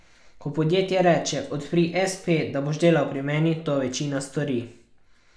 Ko podjetje reče, odpri espe, da boš delal pri meni, to večina stori.